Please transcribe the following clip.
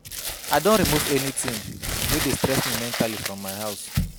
I don remove anything wey dey stress me mentally from my house